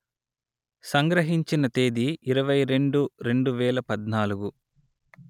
సంగ్రహించిన తేదీ ఇరవై రెండు రెండు వేల పధ్నాలుగు